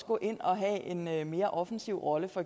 gå ind og have en mere offensiv rolle og